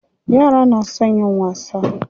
Yara na son yin wasa.